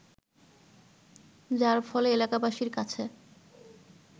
যার ফলে এলাকাবাসীর কাছে